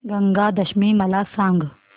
गंगा दशमी मला सांग